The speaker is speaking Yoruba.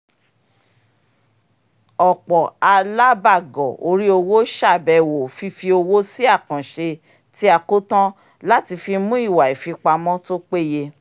ọ̀pọ̀ alábàgọ̀ orí owó ṣàbẹwò fífi owó sí àkàǹṣe tí a kó tán láti fi mú ìwà ìfipamọ́ tó péye